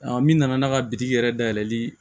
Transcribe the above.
min nana n'a ka bitigi yɛrɛ dayɛlɛli